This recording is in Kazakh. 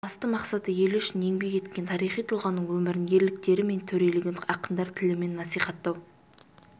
басты мақсаты елі үшін еңбек еткен тарихи тұлғаның өмірін ерліктері мен төрелігін ақындар тілімен насихаттау